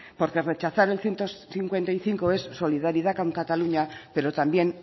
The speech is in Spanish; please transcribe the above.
porque rechazar el ciento cincuenta y cinco es solidaridad con cataluña pero también